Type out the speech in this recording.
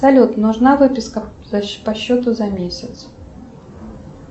салют нужна выписка по счету за месяц